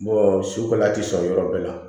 sukaro tɛ sɔrɔ yɔrɔ bɛɛ la